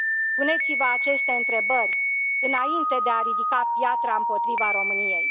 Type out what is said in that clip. Puneți vă aceste întrebări, înainte de a ridica piatra împotriva României.